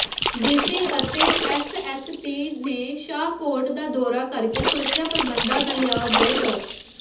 DC ਅਤੇ SSP ਨੇ ਸ਼ਾਹਕੋਟ ਦਾ ਦੌਰਾ ਕਰਕੇ ਸੁਰੱਖਿਆ ਪ੍ਰਬੰਧਾਂ ਦਾ ਲਿਆ ਜਾਇਜ਼ਾ